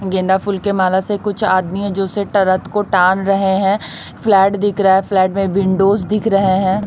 गेंदा फूल के माला से कुछ आदमी हैं जो उसे टरत को टान रहे हैं फ्लैट दिख रहा है फ्लैट में विंडोज दिख रहे हैं।